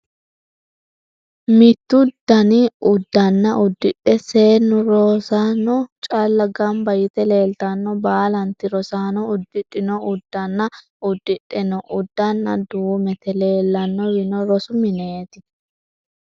Mittu Dani uddanna uddidhe seennu rosaano calla Gamba yite leeltanno. Baalanti rosaano uddidhino uddanna uddidhe noo uddanna duumete. Leellannowino rosu mineeti.